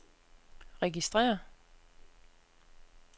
registrér